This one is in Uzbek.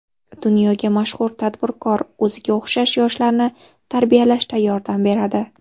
Dunyoga mashhur tadbirkor o‘ziga o‘xshash yoshlarni tarbiyalashda yordam beradi.